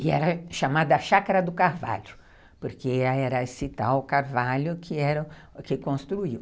E era chamada Chácara do Carvalho, porque era esse tal carvalho que construiu.